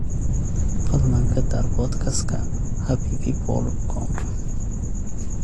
fadlan ka daar podcast ka Happypeoplecom